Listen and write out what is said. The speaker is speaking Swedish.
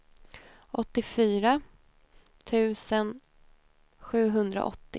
åttiofyra tusen sjuhundraåttio